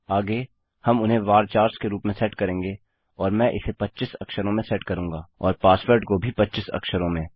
आगे हम उन्हें वर्चर्स के रूप में सेट करेंगे और मैं इसे 25 अक्षरों में सेट करूँगा और पासवर्ड को भी 25 अक्षरों में